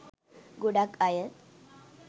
ගොඩක් අය